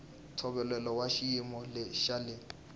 ntshovelo wa xiyimo xa le